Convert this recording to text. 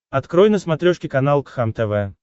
открой на смотрешке канал кхлм тв